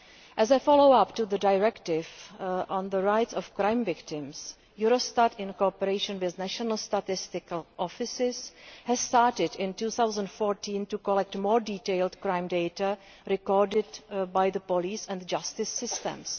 As a follow up to the Directive on the Rights of Crime Victims, Eurostat, in cooperation with national statistical offices, started in 2014 to collect more detailed crime data recorded by the police and justice systems.